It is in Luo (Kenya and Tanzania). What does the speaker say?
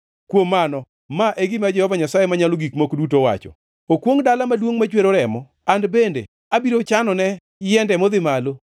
“ ‘Kuom mano, ma e gima Jehova Nyasaye Manyalo Gik Moko Duto owacho: “ ‘Okwongʼ dala maduongʼ machwero remo! An bende abiro chanone yiende modhi malo.